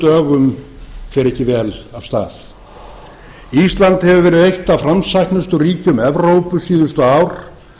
dögum fer ekki vel af stað ísland hefur verið eitt af framsæknustu ríkjum evrópu síðustu ár